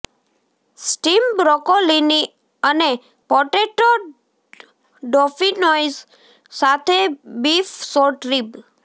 steam બ્રોકોલીની અને potato dauphinoise સાથે બીફ શોર્ટ રીબ